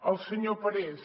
al senyor parés